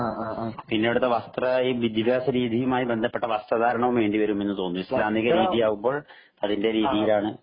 പിന്നെ അവിടുത്തെ വസ്ത്ര വിദ്യാഭ്യാസ രീതിയുമായി ബന്ധപ്പെട്ട വസ്ത്ര ധാരണവും വേണ്ടി വരുമെന്ന് തോന്നുന്നു ഇസ്ലാമിക രീതിയാവുമ്പോൾ അതിന്റെ രീതിയാണ്